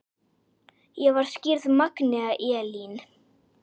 Ég var skírð Magnea Elín.